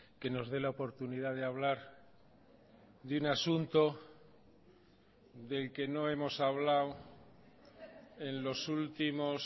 que nos dé la oportunidad de hablar de un asunto del que no hemos hablado en los últimos